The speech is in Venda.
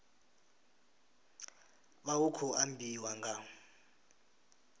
vha hu khou ambiwa nga